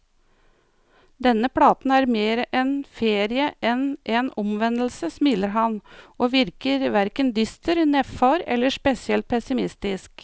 Denne platen er mer en ferie enn en omvendelse, smiler han, og virker hverken dyster, nedfor eller spesielt pessimistisk.